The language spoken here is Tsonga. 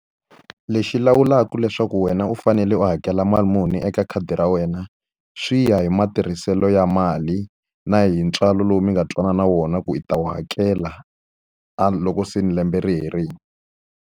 Lexi lawulaka leswaku wena u fanele u hakela mali muni eka khadi ra wena, swi ya hi matirhiselo ya mali na hi ntswalo lowu mi nga twanana wona ku i ta wu hakela a loko se ni lembe ri herile.